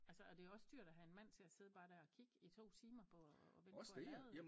Altså og det jo også dyrt at have en mand til at sidde bare der og kigge i 2 timer på at vente på at lade